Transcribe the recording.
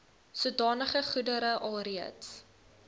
sodanige goedere alreeds